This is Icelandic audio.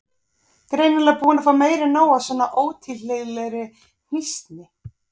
Greinilega búin að fá meira en nóg af svona ótilhlýðilegri hnýsni.